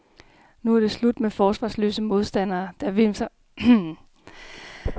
Nu er det slut med forsvarsløse modstandere, der vimser planløst rundt langt oppe på banen i et forsøg på at dække op.